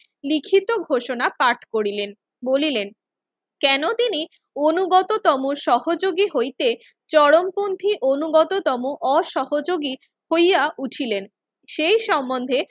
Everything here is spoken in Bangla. লিখিত ঘোষণা পাঠ করিলেন। বলিলেন, কেন তিনি অনুগততম সহযোগী হইতে চরমকন্ঠী অনুগততম অসহযোগী হইয়া উঠিলেন। সেই সম্বন্ধে